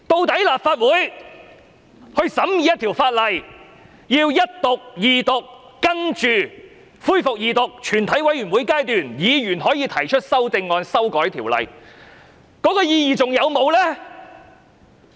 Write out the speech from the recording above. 立法會審議法案，需經首讀、二讀、全體委員會審議階段，議員可提出修正案修改法案的意義還存在嗎？